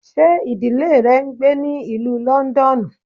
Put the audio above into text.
Ṣe idile rẹ n gbe ní Ìlú Lọndọnu?